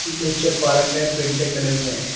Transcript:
नीचे पार्क है पेटे खड़े हुए हैं।